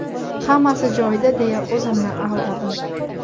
Hammasi joyida deya o‘zimni aldadim.